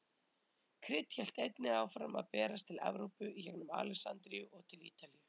Krydd hélt einnig áfram að berast til Evrópu í gengum Alexandríu og til Ítalíu.